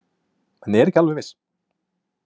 En er ekki alveg viss.